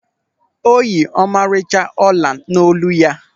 O yi ọmarịcha ọla n'olu ya.